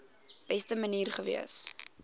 beste manier gewees